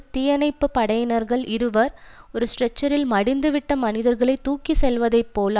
தீயணைப்பு படையினர்கள் இருவர் ஒரு ஸ்டெச்சரில் மடிந்துவிட்ட மனிதர்களை தூக்கி செல்வதைப் போல்